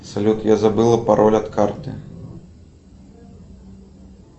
салют я забыла пароль от карты